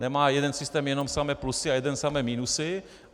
Nemá jeden systém jenom samé plusy a jeden samé minusy.